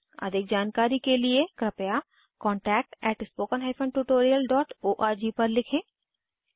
अधिक जानकारी के लिए कृपया contactspoken tutorialorg पर लिखें